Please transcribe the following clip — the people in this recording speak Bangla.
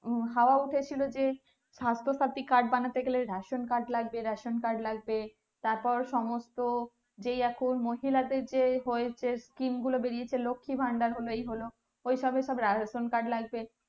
হাওয়া উঠেছিল যে সাস্থ সাথী card বানাতে গেলে ration card লাগবে ration card লাগবে তারপর সমস্ত যে এখন মহিলাদের যে এখন হয়েছে scheme গুলো হয়েছে লক্ষী ভান্ডার হলো এই হলো ওই সবে সবে ration card লাগবে